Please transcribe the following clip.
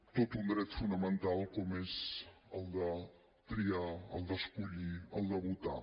tot un dret fonamental com és el de triar el d’escollir el de votar